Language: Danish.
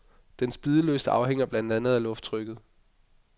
Dens bidelyst afhænger blandt andet af lufttrykket.